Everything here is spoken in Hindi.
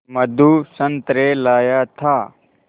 मधु संतरे लाया था